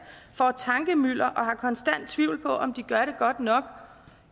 får tankemylder og har en konstant tvivl på om de gør det godt nok